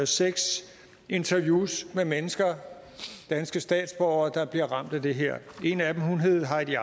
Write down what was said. seks interviews med mennesker danske statsborgere der bliver ramt af det her en af dem hedder heidi